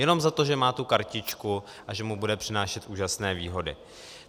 Jenom za to, že má tu kartičku a že mu bude přinášet úžasné výhody.